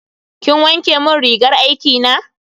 Kin wanke mun rigar girki na?